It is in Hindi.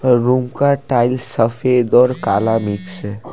रूम का टाइल्स सफेद और काला मिक्स है।